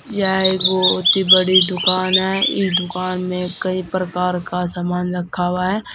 यह एक बहुत ही बड़ी दुकान है ई दुकान में कई प्रकार का सामान रखा हुआ है।